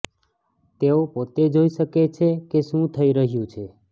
તેઓ પોતે જોઇ શકે છે કે શું થઇ રહ્યું છે